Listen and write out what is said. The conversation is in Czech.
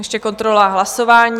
Ještě kontrola hlasování.